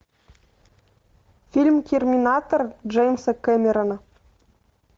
фильм терминатор джеймса кэмерона